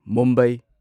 Mumbai